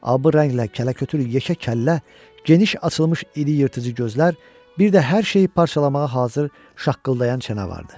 A rənglə kələ-kötür yekə kəllə, geniş açılmış iri yırtıcı gözlər, bir də hər şeyi parçalamağa hazır şaqqıldayan çənə vardı.